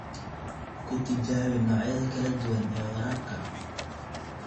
Ku tijaabi noocyada kala duwan ee waraabka.